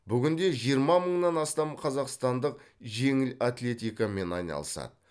бүгінде жиырма мыңнан астам қазақстандық жеңіл атлетикамен айналысады